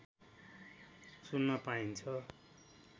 सुन्न पाइन्छ